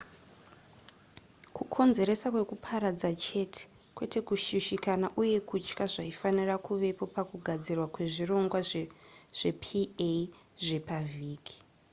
kukonzeresa kwekuparadza chete kwete kushushikana uye kutya zvaifanira kuvepo pakugadzirwa kwezvirongwa zvepa zvepavhiki